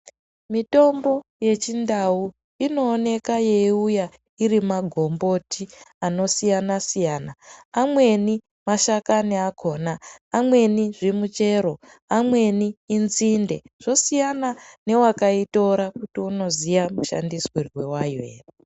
Mitombo yechindau indonesa yeiuya ari magomboti anosiyana siyana amweni mashakani akona amweni zvimuchero amweni inzinde zvosiyana newakaitora kuti unoziya mashandiswiro wayo ere.